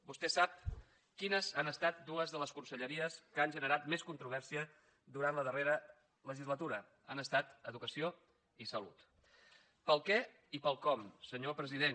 vostè sap quines han estat dues de les conselleries que han generat més controvèrsia durant la darrera legislatura han estat educació i salut per al què i per al com senyor president